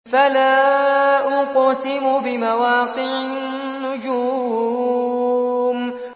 ۞ فَلَا أُقْسِمُ بِمَوَاقِعِ النُّجُومِ